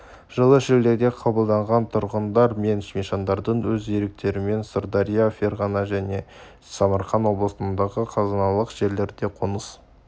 жылы шілдеде қабылданған тұрғындар мен мещандардың өз еріктерімен сырдария ферғана және самарқан облыстарындағы қазыналық жерлерге қоныс